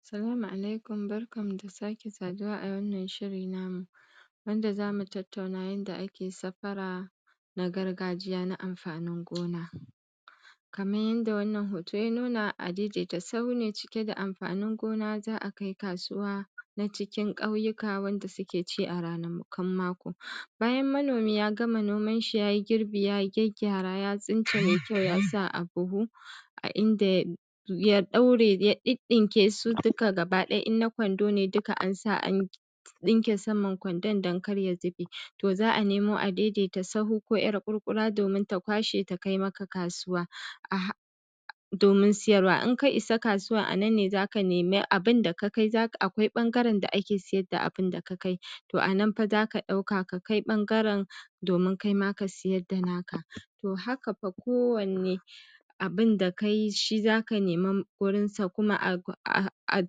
Assalamu Alaikum, barkanmu da sake saduwa a wannan shiri namu, wanda za mu tattauna yanda ake safara na gargajiya na amfanin gona. Kaman yanda wannan hoto ya nuna, a-daiadaita-sahu ne cike da amfanin gona za a kai kasuwa na cikin ƙauyuka wanda suke ci a ranakun mako. Bayan manomi ya gama nomanshi ya yi girbi ya gyaggyara ya tsince mai kyau ya sa a buhu, a inda ya ɗaure ya ɗiɗɗinke su duka gabaɗaya, in na kwando ne duka an sa an ɗinke saman kwandon don kar ya zube. To, za a nemo a-daidaita-sahu ko 'yar ƙurƙura domin ta kwashe ta kai maka kasuwa, domin siyarwa. In ka isa kasuwar a nan ne za ka nemi abun da ka kai, akwai ɓangaren da ake siyar da abun da ka kai. To a nan fa za ka ɗauka, ka kai ɓangaren domin kai ma ka siyar da naka. To, haka fa kowanne abun da ka yi shi za ka nema wurinsa, kuma a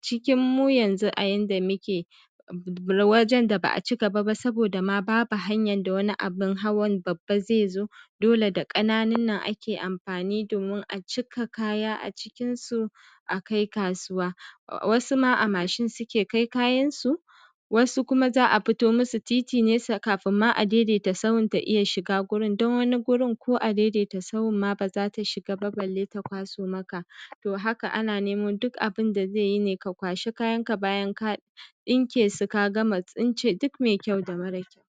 cikinmu yanzu a yanda muke, wajen da ba a ci gaba ba, saboda ma babu hanyar da wani abun hawan babba zai zo, dole da ƙananun nan ake amfani domin a cika kaya a cikinsu a kai kasuwa. Wasu ma a mashin suke kai kayansu; wasu kuma za a fito musu titi ne kafin ma a-daidaita-sahun ta iya shiga gurin, don wani gurin ko a-daidaita-sahun ma ba za ta shiga ba balle ta kwaso maka. To, haka ana neman duk abun da zai yi ne ka kwashi kayanka, bayan ka ɗinke su ka gama tsince duk mai kyau da mara kyau.